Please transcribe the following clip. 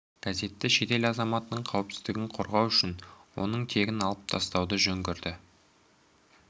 газеті шетел азаматының қауіпсіздігін қорғау үшін оның тегін алып тастауды жөн көрді